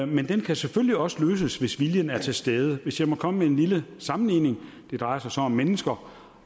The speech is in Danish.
men det kan selvfølgelig også løses hvis viljen er til stede hvis jeg må komme med en lille sammenligning det drejer sig om mennesker